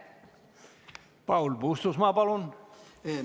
Paul Puustusmaa, palun!